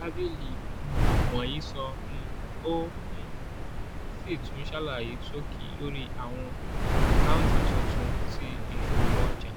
tábìlì um wọ̀nyí sọ um ó um sì tún ṣàlàyé ṣókí lórí àwọn àkáǹtì tuntun ti ìṣòwò ọjà.